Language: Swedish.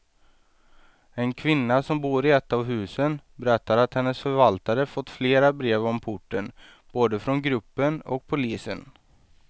En kvinna som bor i ett av husen berättar att hennes förvaltare fått flera brev om porten, både från gruppen och polisen.